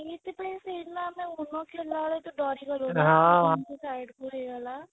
ସେଇଥି ପାଇଁ ସେଦିନ ଆମେ ବେଳେ ଦରିଗଲୁ ଏମିତି side କୁ ହେଇଗଲା